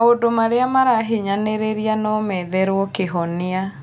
Maũndũ marĩa marahinyanĩrĩria no metherwo kĩhonia